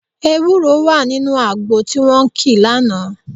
Ewúro wà nínú àgbo tí wọ́n kì lánàá